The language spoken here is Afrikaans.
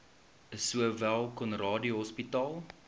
sowel conradie hospitaal